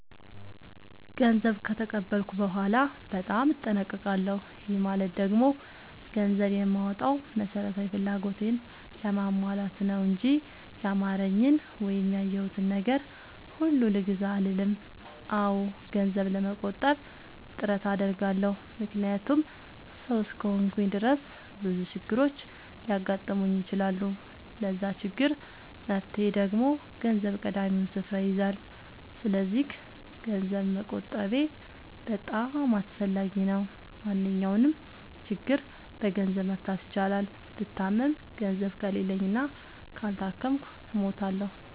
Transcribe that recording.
ገንዘብ ከተቀበልኩ በኋላ በጣም እጠነቀቃለሁ። ይህ ማለት ደግሞ ገንዘብ የማወጣው መሠረታዊ ፍላጎቴን ለማሟላት ነው እንጂ ያማረኝን ወይም ያየሁትን ነገር ሁሉ ልግዛ አልልም። አዎ ገንዘብ ለመቆጠብ ጥረት አደርጋለሁ። ምክንያቱም ሠው እስከሆንኩኝ ድረስ ብዙ ችግሮች ሊያጋጥሙኝ ይችላሉ። ለዛ ችግር መፍትሄ ደግሞ ገንዘብ ቀዳሚውን ስፍራ ይይዛል። ሰስለዚክ ገንዘብ መቆጠቤ በጣም አስፈላጊ ነው። ማንኛውንም ችግር በገንዘብ መፍታት ይቻላል። ብታመም ገንዘብ ከሌለኝ እና ካልታከምኩ እሞታሁ።